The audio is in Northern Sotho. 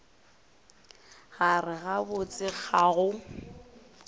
gare ga botse ga go